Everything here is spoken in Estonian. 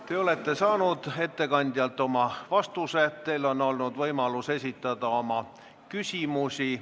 Te olete saanud ettekandjalt vastuse, teil on olnud võimalus esitada oma küsimusi.